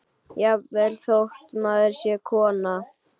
Jafnvel þótt maður sé kona.